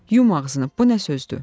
Yum ağzını, bu nə sözdür?